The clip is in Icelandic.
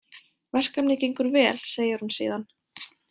Verkefnið gengur vel, segir hún síðan.